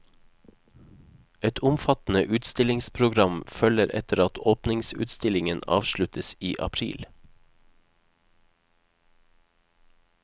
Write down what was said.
Et omfattende utstillingsprogram følger etter at åpningsutstillingen avsluttes i april.